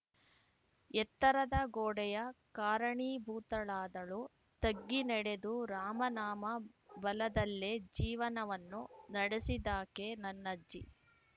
ಎತ್ತರದ ಗೋಡೆಯ ಕಾರಣೀಭೂತಳಾದಳೂ ತಗ್ಗಿ ನಡೆದು ರಾಮನಾಮ ಬಲದಲ್ಲೇ ಜೀವನವನ್ನು ನಡೆಸಿದಾಕೆ ನನ್ನಜ್ಜಿ